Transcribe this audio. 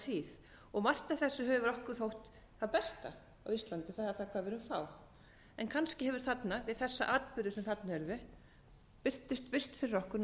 hríð og margt af þessu hefur okkur þótt það besta á íslandi hvað við erum fá en kannski hefur þarna við þessa atburði sem þarna urðu birst fyrir okkur